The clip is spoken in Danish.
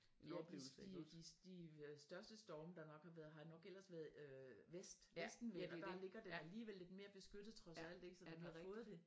Ja de de øh største storme der nok har været har nok ellers været øh vest vestenvind og der ligger det alligevel lidt mere beskyttet trods alt ik så når de har fået det